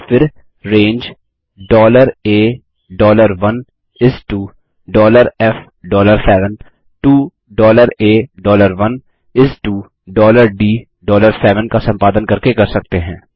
और फिर range A1 is to F7 to A1 is to D7 का सम्पादन करके कर सकते हैं